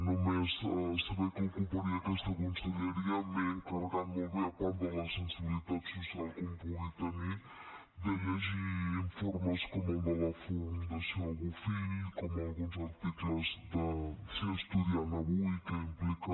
només saber que ocuparia aquesta conselleria m’he encarregat molt bé a part de la sensibilitat social que un pugui tenir de llegir informes com el de la fundació bofill com alguns articles ser estudiant universitari avui què implica